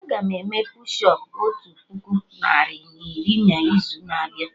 Aga m eme push ụp otu puku narị na iri na izu na abịa